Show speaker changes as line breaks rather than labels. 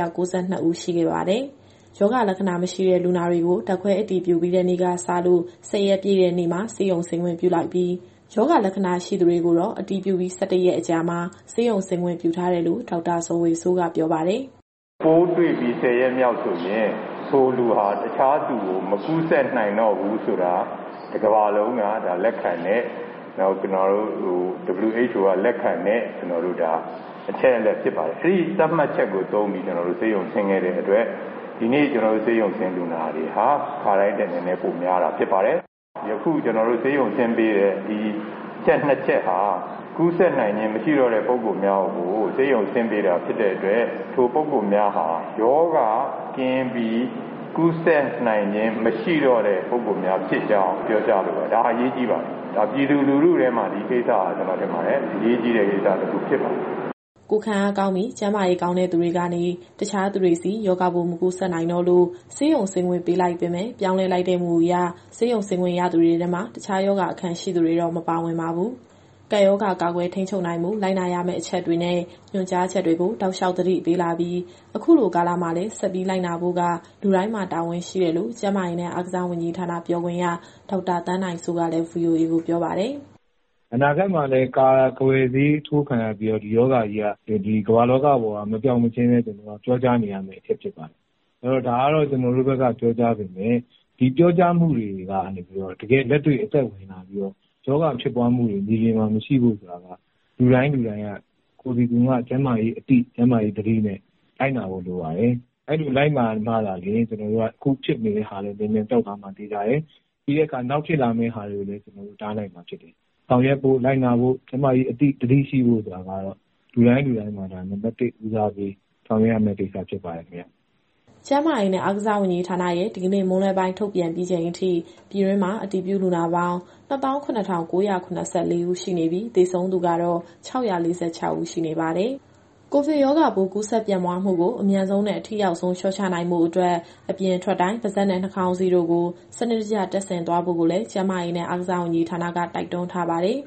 ၂ ဦးရှိခဲ့ပါတယ်။ ရောဂါလက္ခဏာမရှိတဲ့ လူနာတွေကို ဓာတ်ခွဲအတည်ပြုပြီးတဲ့ နေ့ကစလို့ ၁၀ ရက်ပြည့်တဲ့နေ့မှာ ဆေးရုံဆင်းခွင့်ပြုလိုက်ပြီး၊ ရောဂါလက္ခဏာရှိသူတွေကိုတော့ အတည်ပြုပြီး ၁၁ ရက်ကြာမှာ ဆေးရုံဆင်းခွင့်ပြုထားတယ်လို့ ဒေါက်တာဇော်ဝေစိုးက ပြောပါတယ်။
“ပိုးတွေ့ပြီး ၁၀ ရက်မြောက်ဆိုရင် ထိုလူဟာ တခြားသူကို မကူးစက်နိုင်တော့ဘူးဆိုတာ တကမ္ဘာလုံးက လက်ခံတဲ့၊ WHO က လက်ခံတဲ့ အချက်အလက်ဖြစ်ပါတယ်။ အဲဒီသတ်မှတ်ချက်ကို သုံးပြီး ကျနော်တို့ဆေးရုံဆင်းခဲ့တဲ့အတွက် ဒီနေ့ဆေးရုံဆင်းလူနာတွေဟာ ခါတိုင်းထက်နည်းနည်း ပိုများတာ ဖြစ်ပါတယ်။ ယခုကျနော်တို့ ဆေးရုံဆင်းပေးတဲ့ ဒီအချက်နှစ်ချက်ဟာ ကူးစက်နိုင်ခြင်း မရှိတော့တဲ့ ပုဂ္ဂိုလ်များကို ဆေးရုံဆင်းပေးတာဖြစ်တဲ့အတွက် ထိုပုဂ္ဂိုလ်များဟာ ရောဂါကင်းပြီး ကူးစက်နိုင်ခြင်းမရှိတော့တဲ့ ပုဂ္ဂိုလ်များဖြစ်ကြောင်း ပြောကြားလိုပါတယ်။ ဒါအရေးကြီးပါတယ်။ ဒါပြည်သူလူထုထဲမှာ ဒီကိစ္စဟာ ကျနော်ထင်ပါတယ်၊ အရေးကြီးတဲ့ကိစ္စတခု ဖြစ
်ပါတယ်။” ကိုယ်ခံအားကောင်းပြီး၊ ကျန်းမာရေးကောင်းတဲ့သူတွေကနေ တခြားသူတွေဆီ ရောဂါပိုးမကူးစက်နိုင်တော့လို့ ဆေးရုံဆင်းခွင့်ပေးလိုက်ပေမဲ့ ပြောင်းလဲလိုက်တဲ့ မူအရ ဆေးရုံဆင်းခွင့်ရသူတွေထဲမှာ တခြားရောဂါအခံရှိသူတွေတော့ မပါဝင်ပါဘူး။ ကပ်ရောဂါကာကွယ် ထိန်းချုပ်နိုင်ဖို့ လိုက်နာရမယ့်အချက်တွေနဲ့ ညွှန်ကြားချက်တွေကို တောက်လျှောက်သတိပေးလာပြီး အခုလိုကာလမှာလည်း ဆက်ပြီးလိုက်နာဆောင်ရွက်ဖို့က လူတိုင်းမှာတာဝန်ရှိတယ်လို့ ကျန်းမာရေးနဲ့ အားကစားဝန်ကြီးဌာန ပြောခွင့်ရ ဒေါက်တာသန်းနိုင်စိုးကလည်း VOA ကိုပြောပါတယ်။
“အနာဂတ်မှာလည်း ကာကွယ်ဆေးထိုးခံရပြီးတော့ ဒီရောဂါကြီးက ဒီကမ္ဘာလောကပေါ်က မပျောက်မချင်းလည်း ကျနော်တို့ကပြောကြားနေရမယ့် အချက်ဖြစ်ပါတယ်။ အဲတော့ ဒါကတော့ ကျနော်တို့ဘက်က ပြောကြားပေမဲ့ ဒီပြောကြားမှုတွေကနေ တကယ့်အသက်ဝင်လာပြီးတော့ ရောဂါဖြစ်ပွားမှုတွေ မြေပြင်မှာ မရှိဖို့ဆိုတာက လူတိုင်းလူတိုင်းက ကိုယ်စီကိုယ်ငှကျန်းမာရေးအသိ၊ ကျန်းမာရေးသတိနဲ့ လိုက်နာဖို့လိုပါတယ်။ အဲလိုလိုက်နာမှသာလျှင် အခုဖြစ်နေတာလည်း မြန်မြန်ပျောက်သွားမှာ သေချာတယ်။ နောက်ဖြစ်လာမယ့်ဟာတွေကိုလည်း ကျနော်တို့တားနိုင်မှာဖြစ်တယ်။ ဆောင်ရွက်ဖို့၊ လိုက်နာဖို့၊ ကျန်းမာရေးအသိ သတိရှိဖို့ဆိုတာကတော့ လူတိုင်းလူတိုင်းမှာ ဒါနံပတ် ၁ ဦးစားပေးဆောင်ရွက်ရမယ့် ကိစ္စဖြစ်ပါတယ်ခင်ဗျ။”
ကျန်းမာရေးနဲ့ အားကစားဝန်ကြီးဌာနရဲ့ဒီကနေ့ မွန်းလွဲပိုင်းထုတ်ပြန်ပြီးချိန်အထိ ပြည်တွင်းမှာအတည်ပြုလူနာပေါင်း ၂၇,၉၇၄ ဦးရှိနေပြီး၊ သေဆုံးသူကတော့ ၆၄၆ ဦးရှိနေပါတယ်။ ကိုဗစ်ရောဂါပိုး ကူးစက်ပြန့်ပွားမှုကို အမြန်ဆုံးနဲ့ အထိရောက်ဆုံး လျှော့ချနိုင်ဖို့အတွက် အပြင်ထွက်တိုင်း ပါးစပ်နဲ့နှာခေါင်းစည်းတို့ကို စနစ်တကျတပ်ဆင်သွားဖို့ကိုလည်း ကျန်းမာရေးနဲ့ အားကစားဝန်ကြီးဌာနက တိုက်တွန်းထားပါတယ်။